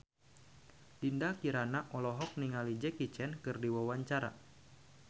Dinda Kirana olohok ningali Jackie Chan keur diwawancara